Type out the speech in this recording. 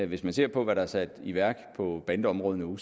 hvis man ser på hvad der er sat i værk på bandeområdet nu